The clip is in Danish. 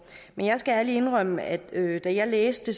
men jeg skal ærligt indrømme at da jeg læste